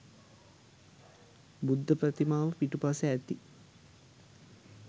බුද්ධ ප්‍රතිමාව පිටුපස ඇති